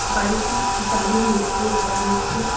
বাড়িতি জালির নেট দিয়ে ঘেরা হয়েছে।